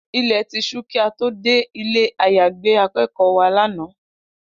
Ilẹ̀ ti ṣú kí a tó dé ilé-àyágbé akẹ́kọ̀ọ́ wa lánàá